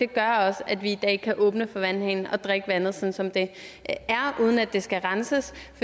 gør at vi i dag kan åbne for vandhanen og drikke vandet sådan som det er uden at det skal renses